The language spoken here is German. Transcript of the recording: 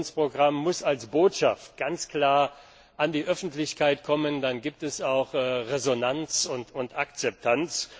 7. Aktionsprogramm muss als Botschaft ganz klar an die Öffentlichkeit kommen, dann gibt es auch Resonanz und Akzeptanz.